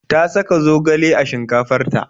Ta saka zogale a shinkafar ta.